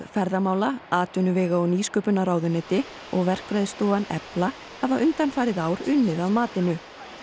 ferðamála atvinnuvega og nýsköpunarráðuneyti og verkfræðistofan Efla hafa undanfarið ár unnið að matinu